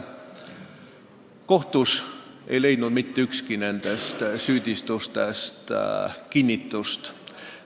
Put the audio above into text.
Kohtus ei leidnud mitte ükski nendest süüdistustest kinnitust.